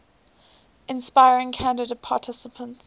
inspiring candidate participants